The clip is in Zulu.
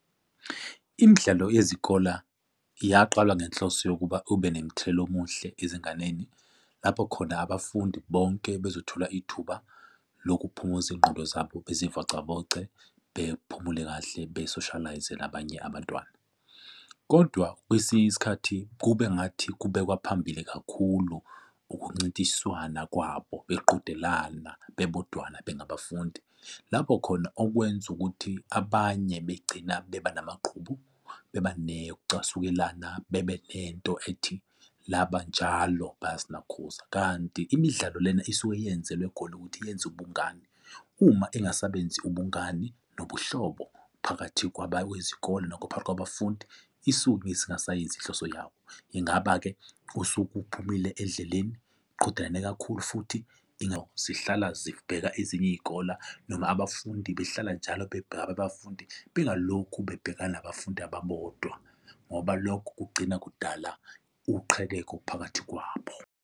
Imidlalo yezikola yaqalwa ngenhloso yokuba ube nemithelelo omuhle ezinganeni lapho khona abafundi bonke bezothola ithuba lokuphumuza iy'ngqondo zabo bezivocavoce bephumule kahle besoshalayize nabanye abantwana. Kodwa kwesinye isikhathi kube ngathi kubekwa phambili kakhulu ukuncintiswana kwabo beqhudelana bebodwa bengabafundi lapho khona okwenza ukuthi abanye begcina beba namagqubu beba ne ukucasukelana bebe nento ethi laba njalo bayasinakhuza, kanti imidlalo lena isuke yenzelwe khona ukuthi yenze ubungani, uma ingasabenzi ubungani nobuhlobo phakathi kwabakwezikole nama phakathi kwabafundi, isukeisingasayemzi inhloso yabo. Ingaba-ke usuke uphumile endleleni, qhudelane kakhulu futhi zihlala zibheka ezinye iy'kola noma abafundi behlala njalo bebheka abafundi bengalokhu bebhekana nabafundi ababodwa ngoba lokhu kugcina kudala uqhekeko phakathi kwabo.